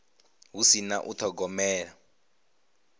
hu si na u thogomela